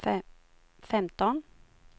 femton